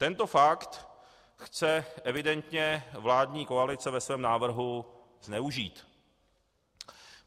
Tento fakt chce evidentně vládní koalice ve svém návrhu zneužít.